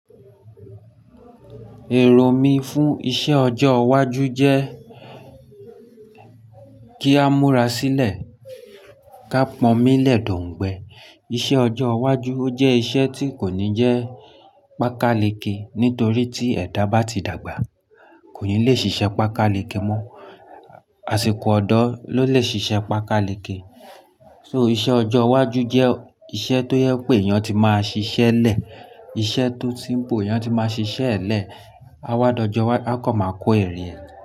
Èrò mí fún iṣẹ́ ọjọ́ iwájú jẹ́ kí a múra sílẹ̀ ká pọ́nmí lẹ̀ d'ọ̀ǹgbẹ́. Iṣẹ́ ọjọ́ iwájú jẹ́ iṣẹ́ tí kò ní jẹ́ pàkalekè nítorí tí ẹ̀dá bá ti dàgbà, kò ní le ṣiṣẹ́ pàkalekè mọ́. Àsìkò ọ̀dọ́ ló lè ṣiṣẹ́ pàkalekè. So iṣẹ́ ọjọ́ iwájú jẹ́ iṣẹ́ tó jẹ pé èèyàn ti máa ṣiṣẹ́ lẹ̀. Iṣẹ́ tó simple èèyán ti máa ṣiṣẹ́ lẹ̀. Awádọjọ wájú, a kan máa kó èrè.